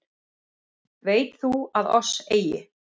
Veit þú að oss eigi